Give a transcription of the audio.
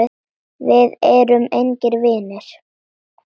Við erum engir vinir.